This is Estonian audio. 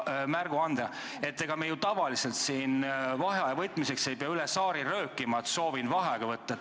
Ega me ju tavaliselt vaheaja võtmiseks ei pea üle saali röökima, et soovin vaheaega võtta.